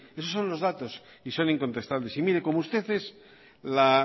esos son los datos y son incontestables y mire como usted es la